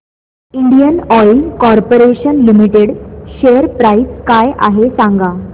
Indian Oil Corporation Limited share price काय आहे सांगा